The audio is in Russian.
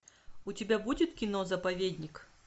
у тебя будет кино заповедник